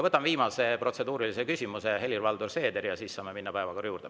Võtan viimase protseduurilise küsimuse, Helir-Valdor Seeder, ja siis saame minna päevakorra juurde.